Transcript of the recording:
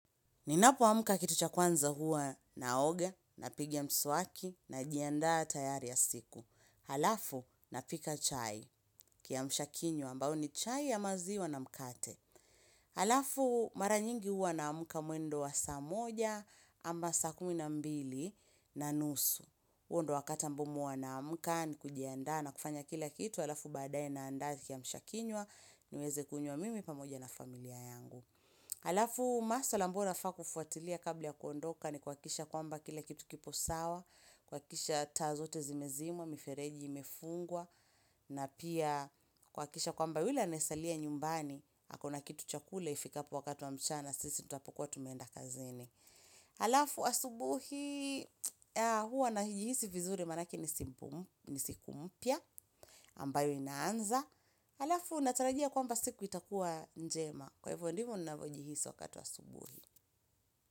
Ninapo amka kitu cha kwanza huwa naoga napiga mswaki najiandaa tayari ya siku. Halafu na pika chai kiamsha kinywa ambayo ni chai ya maziwa na mkate. Halafu mara nyingi hua namka mwendo wa saa moja ama saa kumi na mbili na nusu. Huu ndio wakati mimi huwa naamka na kujiandaa na kufanya kila kitu. Halafu badae naanda kiamsha kinywa niweze kunywa mimi pamoja na familia yangu. Alafu maswala ambayo nafaa kufuatilia kabla ya kuondoka ni kuhakikisha kwamba kila kitu kipo sawa, kuhakikisha taa zote zimezimwa, mifereji imefungwa, na pia kuhakikisha kwamba yule anayesalia nyumbani, ako na kitu cha kula ifikapo wakati wa mchana, sisi tutapokuwa tumeenda kazini. Alafu asubuhi huwa najihisi vizuri manake ni siku mpya ambayo inaanza Alafu natarajia kwamba siku itakuwa njema Kwa hivyo ndivo ninapojihisi wakati wa asubuhi.